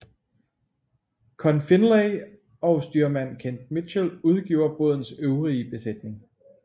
Conn Findlay og styrmand Kent Mitchell udgjorde bådens øvrige besætning